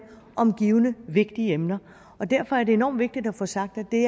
om givne vigtige emner derfor er det enormt vigtigt at få sagt at det